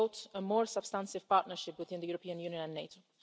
a more substantive partnership within the European Union and NATO'.